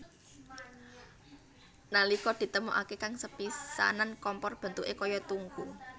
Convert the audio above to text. Nalika ditemokaké kang sepisanan kompor bentuké kaya tungku